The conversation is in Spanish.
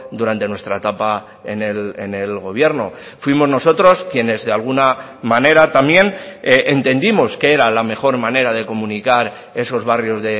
durante nuestra etapa en el gobierno fuimos nosotros quienes de alguna manera también entendimos que era la mejor manera de comunicar esos barrios